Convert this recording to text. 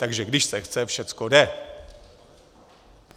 Takže když se chce, všechno jde.